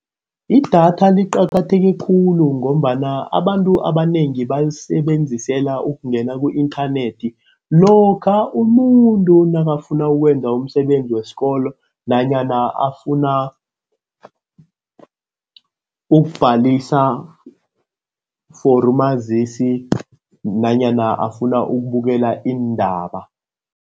Idatha liqakatheke khulu ngombana abantu abanengi balisebenzisela ukungena ku-inthanethi. Lokha umuntu nakafuna ukwenza umsebenzi wesikolo nanyana afuna ukubhalisa for umazisi, nanyana afuna ukubukela iindaba.